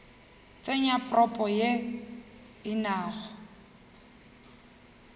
tsenya propo ye e nago